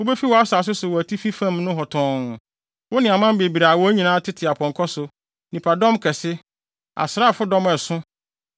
Wubefi wʼasase so wɔ atifi fam nohɔ tɔnn, wo ne aman bebree a wɔn nyinaa tete apɔnkɔ so, nnipadɔm kɛse, asraafodɔm a ɛso.